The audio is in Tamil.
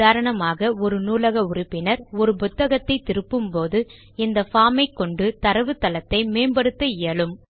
உதாரணமாக ஒரு நூலக உறுப்பினர் ஒரு புத்தகத்தை திருப்பும் போது இந்த பார்ம் ஐ கொண்டு தரவுத்தளத்தை மேம்படுத்த இயலும்